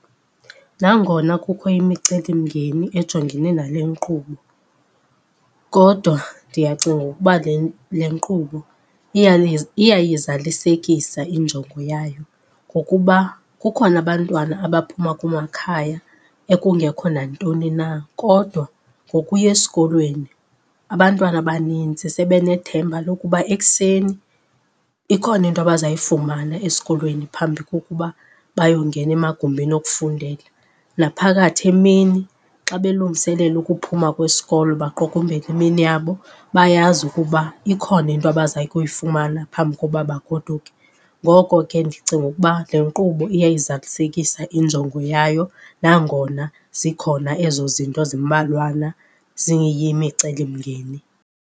Nangona kukho imicelimngeni ejongene nale nkqubo kodwa ndiyacinga ukuba le, le nkqubo iyayizalisekisa injongo yayo. Ngokuba kukhona abantwana abaphuma kumakhaya ekungekho nantoni na kodwa ngokuya esikolweni abantwana abanintsi sebe nethemba lokuba ekuseni ikhona into abazayifumana esikolweni phambi kokuba bayongena emagumbini okufundela. Naphakathi emini xa belungiselela ukuphuma kwesikolo baqukumbele imini yabo, bayazi ukuba ikhona into abaza kuyifumana phambi kokuba bagoduke. Ngoko ke ndicinga ukuba le nkqubo iyayizalisekisa injongo yayo nangona zikhona ezo zinto zimbalwana ziyimicelimngeni.